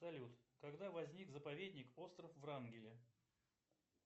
салют когда возник заповедник остров врангеля